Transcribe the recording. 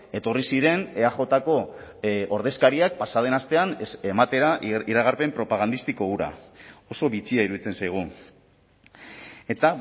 etorri ziren eajko ordezkariak pasa den astean ematera iragarpen propagandistiko hura oso bitxia iruditzen zaigu eta